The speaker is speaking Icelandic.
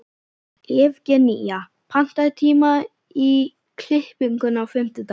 Evgenía, pantaðu tíma í klippingu á fimmtudaginn.